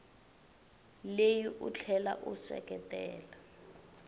leyi u tlhela u seketela